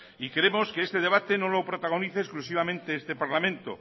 y queremos que este debate no lo protagonice exclusivamente este parlamento